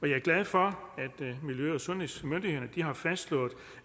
jeg er glad for at miljø og sundhedsmyndighederne har fastslået